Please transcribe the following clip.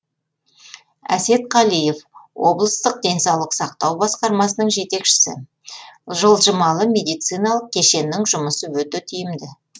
әсет қалиев облыстық денсаулық сақтау басқармасының жетекшісі жылжымалы медициналық кешеннің жұмысы өте тиімді